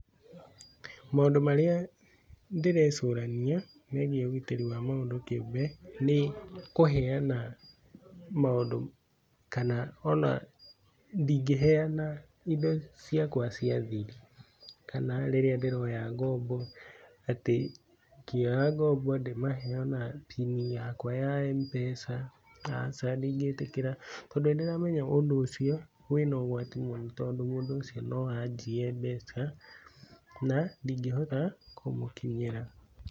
Maũndũ marĩa nderecũrania, megie ũgitĩri wa mũndũ kĩũmbe, nĩ kũheana maũndũ kana ona ndingĩheana indo ciakwa cia thiri ,kana rĩrĩa ndĩroya ngombo ,atĩ ngĩoya ngombo ndĩmahe ona pin yakwa Mpesa, acha ndingĩtĩkĩra tondũ nĩ ndĩramenya ũndũ ũcio wĩna ũgwati mũno tondũ mũndũ ũcio no anjie mbeca na ndingĩhota kũmũkinyĩra.